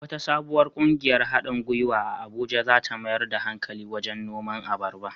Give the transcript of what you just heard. Wata sabuwar ƙungiyar haɗin gwiwa a Abuja za ta mayar da hankali wajen noman abarba.